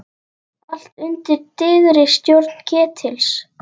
Allt undir dyggri stjórn Ketils.